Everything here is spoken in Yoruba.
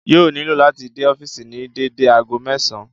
Yóò nílò láti dé ọ́fìsì ní dédé ago mẹ́sàn-àn